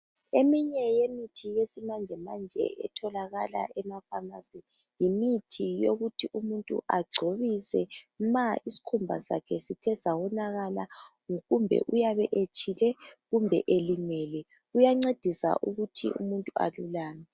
Eminye yemithi yesmanjemanje etholakala emapharmacy .Yimithi yokuthi umuntu agcobise ma isikhumba sakhe sithe sawonakala. Kumbe uyabe etshile kumbe elimele kuyancedisa ukuthi umuntu alulame .